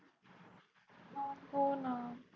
होणा